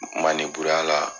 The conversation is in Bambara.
Maneburuya la.